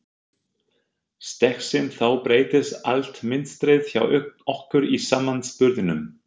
Steggsins þá breytist allt mynstrið hjá okkur í samanburðinum.